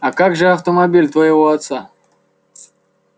а как же автомобиль твоего отца